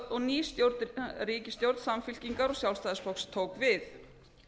og ný ríkisstjórn samfylkingar og sjálfstæðisflokks tók við